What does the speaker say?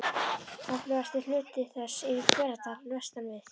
Öflugasti hluti þess er í Hveradal vestan við